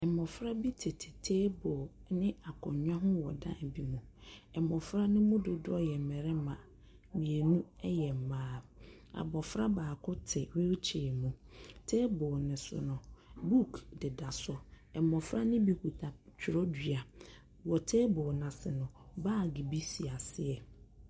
Mmofra bi tete teeblo ɛne akonwa ho wɔ ɛdan bi mu. Mmofra no mu dodoɔ yɛ mmarima, mienu ɛyɛ mmaa. Abofra baako ɛte hweelkyɛɛ mu. Teeblo no so no buk deda so, mmofra no bi kita twerɛdua. Wɔ teeblo no ase no baage bi si aseɛ.